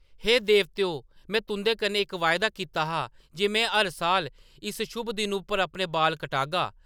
“हे देवतेओ, में तुं’दे कन्नै इक वायदा कीता हा जे में हर साल इस शुभ दिन उप्पर अपने बाल कटगा ।